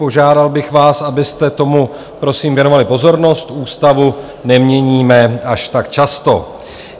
Požádal bych vás, abyste tomu, prosím věnovali pozornost, ústavu neměníme až tak často.